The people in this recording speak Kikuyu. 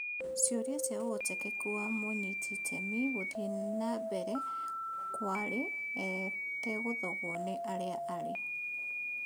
ciũria cia ũhotekeku wa mũnyitiitemi gũthiĩ nambere kũarĩ etegũthogwo nĩ harĩa arĩ.